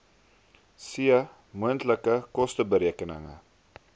c moontlike kosteberekening